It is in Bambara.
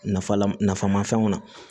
Nafa lafaamafɛnw na